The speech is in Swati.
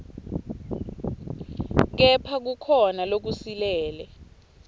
kepha kukhona lokusilele